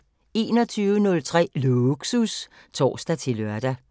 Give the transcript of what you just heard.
21:03: Lågsus (tor-lør)